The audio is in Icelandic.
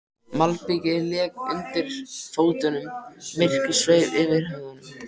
Malbikið lék undir fótunum, myrkrið sveif yfir höfðunum.